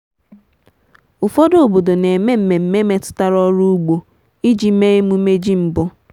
ụfọdụ obodo na-eme mmemme metụtara ọrụ ugbo iji mee emume ji mbụ.